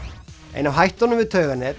ein af hættunum við